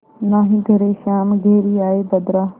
नाहीं घरे श्याम घेरि आये बदरा